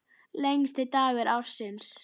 Lengsti dagur ársins.